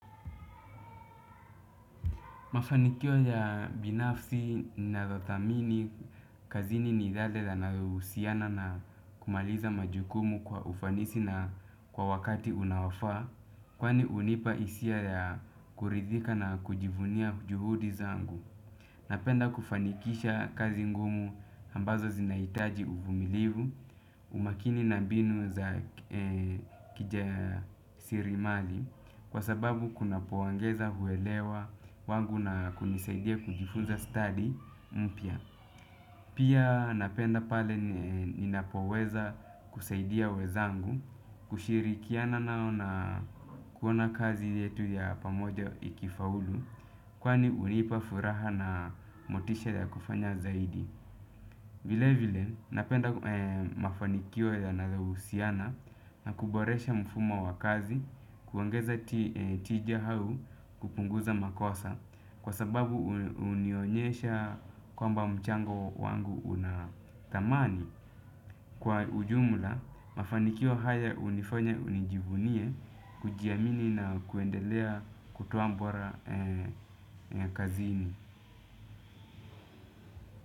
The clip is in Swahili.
Mafanikio ya binafsi na za thamini kazini ni yale yanayohusiana na kumaliza majukumu kwa ufanisi na kwa wakati unaofaa. Kwani hunipa hisia ya kuridhika na kujivunia juhudi zangu. Napenda kufanikisha kazi ngumu ambazo zinahitaji uvumilivu umakini na mbinu za kije sirimali kwa sababu kunapoongeza huelewa kwangu na kunisaidia kujifunza study mpya. Pia napenda pale ninapoweza kusaidia wenzangu kushirikiana nao na kuona kazi yetu ya pamoja ikifaulu kwani hunipa furaha na motisha ya kufanya zaidi. Vile vile napenda mafanikio yanayohusiana na kuboresha mfumo wa kazi kuongeza tija au kupunguza makosa kwa sababu hunionyesha kwamba mchango wangu una thamani. Kwa ujumla mafanikio haya hunifanya nijivunie kujiamini na kuendelea kutoa bora kazini.